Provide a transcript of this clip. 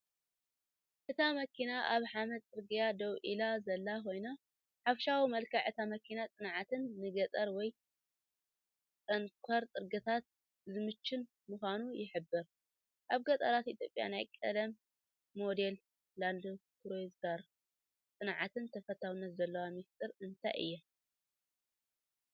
እታ መኪና ኣብ ሓመድ ጽርግያ ደው ኢላ ዘላ ኮይና፡ ሓፈሻዊ መልክዕ እታ መኪና ጽንዕትን ንገጠር ወይ ጽንኩር ጽርግያታት ዝምችእን ምዃና ይሕብር። ኣብ ገጠራት ኢትዮጵያ ናይ ቀደም ሞዴል ላንድክሩዘር ጽንዓትን ተፈታውነትን ዘለዎ ምስጢር እንታይ እዩ?